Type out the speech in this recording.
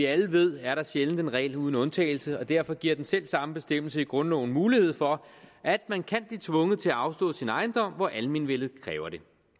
vi alle ved er der sjældent en regel uden undtagelse og derfor giver den selv samme bestemmelse i grundloven mulighed for at man kan blive tvunget til at afstå sin ejendom hvor almenvellet kræver det